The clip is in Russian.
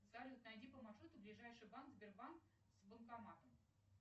салют найди по маршруту ближайший банк сбербанк с банкоматом